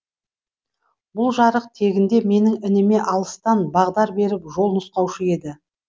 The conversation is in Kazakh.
бұл жарық тегінде менің ініме алыстан бағдар беріп жол нұсқаушы еді